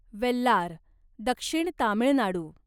वेल्लार दक्षिण तामिळनाडू